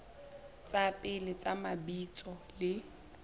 tsa pele tsa mabitso le